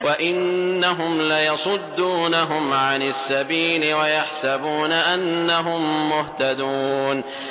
وَإِنَّهُمْ لَيَصُدُّونَهُمْ عَنِ السَّبِيلِ وَيَحْسَبُونَ أَنَّهُم مُّهْتَدُونَ